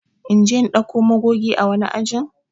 In je in dauko magoge ã wani ajin?